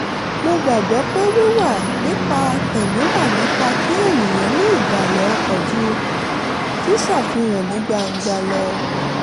mo gbàgbọ́ pé wíwà nípa tẹ̀mí wà nipa kí ènìyàn ní ìbàlẹ̀ ọkàn ju ṣíṣàfihàn ní gbangba lọ